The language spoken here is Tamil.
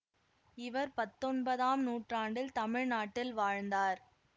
இவர் பத்தொன்பதாம் நூற்றாண்டில் தமிழ்நாட்டில் வாழ்ந்தார்